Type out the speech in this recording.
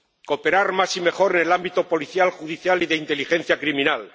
cooperar más y mejor en el ámbito policial, judicial y de inteligencia criminal